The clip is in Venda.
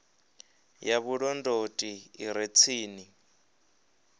ya vhulondoti i re tsini